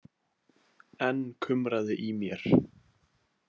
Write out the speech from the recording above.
Enn kumraði í mér.